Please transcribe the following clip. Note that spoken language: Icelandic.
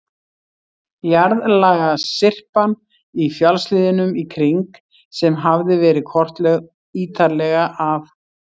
Jarðlagasyrpan í fjallshlíðunum í kring, sem hafði verið kortlögð ítarlega af